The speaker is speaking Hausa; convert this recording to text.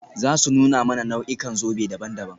Za su nuna mana nau'ikan zobe daban-daban.